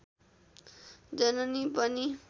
जननी पनि